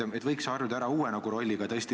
Võiksite nüüd harjuda ära uue rolliga.